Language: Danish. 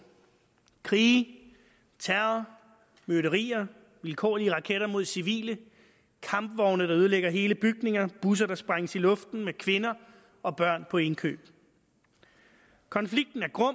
krige terror myrderier vilkårlige raketter mod civile kampvogne der ødelægger hele bygninger busser der sprænges i luften med kvinder og børn på indkøb konflikten er grum